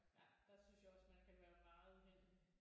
Ja der synes jeg også man kan være meget uheldig